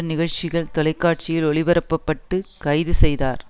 நிகழ்ச்சிகள் தொலைக்காட்சியில் ஒளிபரப்ப பட்டு கைது செய்தார்